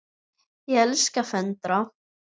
Ég elska að föndra.